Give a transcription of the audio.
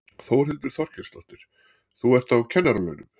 Þórhildur Þorkelsdóttir: Þú ert á kennaralaunum?